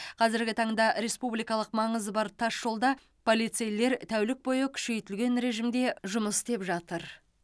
қазіргі таңда республикалық маңызы бар тасжолда полицейлер тәулік бойы күшейтілген режимде жұмыс істеп жатыр